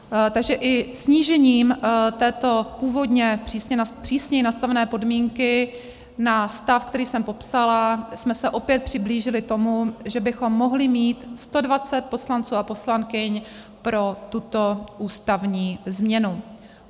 Takže i snížením této původně přísněji nastavené podmínky na stav, který jsem popsala, jsme se opět přiblížili tomu, že bychom mohli mít 120 poslanců a poslankyň pro tuto ústavní změnu.